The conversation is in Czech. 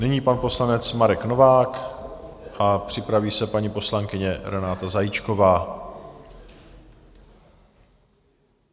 Nyní pan poslanec Marek Novák a připraví se paní poslankyně Renata Zajíčková.